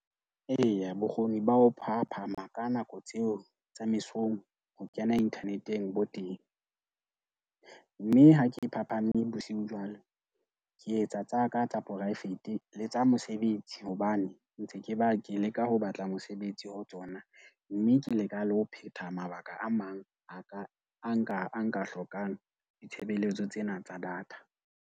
Eya, bokgoni ba ho phahaphama ka nako tseo tsa mesong, ho kena inthaneteng bo teng. Mme ha ke phaphame bosiu jwalo ke etsa tsaka tsa poraefete. Le tsa mosebetsi hobane ntse ke ba ke leka ho batla mosebetsi ho tsona. Mme ke leka le ho phetha mabaka a mang a ka a nka nka hlokang ditshebeletso tsena tsa data.